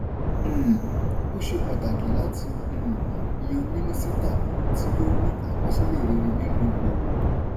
um ó ṣe pàtàkí láti um yan mínísítà tí ó ní àkọsílẹ̀ rere nínu òwò.